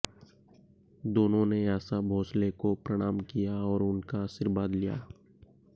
दोनों ने आशा भोसले को प्रणाम किया और उनका आशीर्वाद लिया